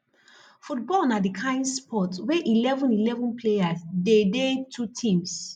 football na di kain sports wey eleven eleven players dey dey two teams